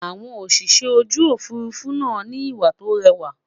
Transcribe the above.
àwọn Òṣìṣẹ́ ojú òfurufú nà ni ìwà tó réwà